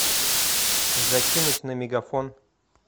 закинуть на мегафон